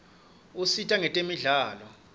usita kwetemidlalo